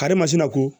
Karimasina ko